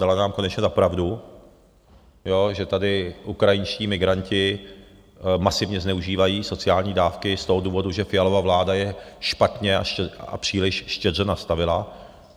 Dala nám konečně za pravdu, že tady ukrajinští migranti masivně zneužívají sociální dávky z toho důvodu, že Fialova vláda je špatně a příliš štědře nastavila.